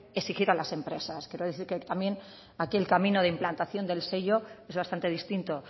exigir a las empresas quiero decir también que aquí el camino de implantación del sello es bastante distinto